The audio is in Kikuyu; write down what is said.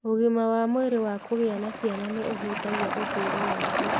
Ũgima wa mwĩrĩ wa kũgĩa na ciana nĩ ũhutagia ũtũũro waku.